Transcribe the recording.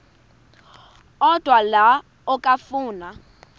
odwa la okafuna